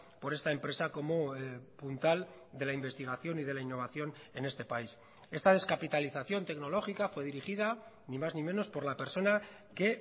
por esta empresa como puntal de la investigación y de la innovación en este país esta descapitalización tecnológica fue dirigida ni más ni menos por la persona que